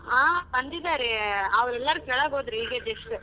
ಹಾ ಬಂದಿದರೆ ಅವ್ರೆಲ್ಲರು ಕೆಳಗೋದರು ಈಗ just .